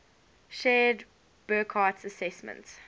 shared burckhardt's assessment